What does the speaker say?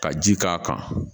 Ka ji k'a kan